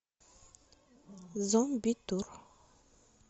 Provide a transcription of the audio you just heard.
зомбитур